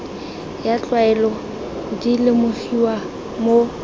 ya tlwaelo di lemogiwa mo